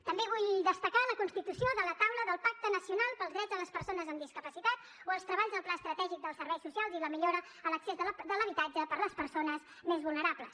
també vull destacar la constitució de la taula del pacte nacional pels drets de les persones amb discapacitat o els treballs del pla estratègic dels serveis socials i la millora en l’accés de l’habitatge per a les persones més vulnerables